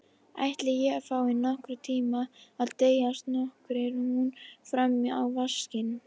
Ætli ég fái nokkurntímann að deyja, snöktir hún fram á vaskinn.